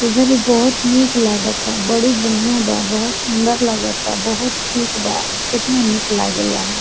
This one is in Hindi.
इधर बहुत मीत लाग ता बड़ी बढ़िया बा बहुत सुन्दर लाग ता बहुत ठीक बा केतना निक लागैला।